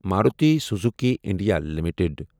Maruti Suzuki India limited